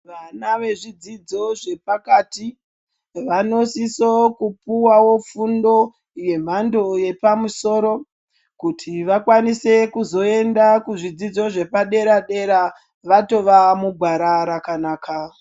Vana vezvidzidzo zvepakati vanosiso kupuwawo fundo yemhando yepamusoro kuti vakwanise kuzoenda kuzvidzidzo zvepadera dera vatova mugwara rakanaka.